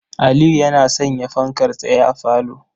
Aliyu yana sanya fankar tsaye a falo.